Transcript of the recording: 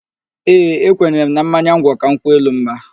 Ee, ekwenyere m na mmanya ngwọ ka nkwụ elu mma